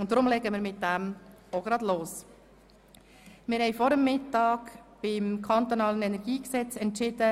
Deshalb legen wir jetzt gleich mit dem kantonalen Energiegesetz (KEnG) los.